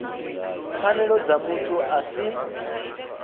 pfanelo dza muthu a si